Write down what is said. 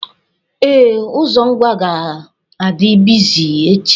Ee, ụzọ Ngwa ga-adị bịzị echi.